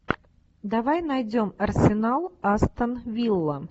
давай найдем арсенал астон вилла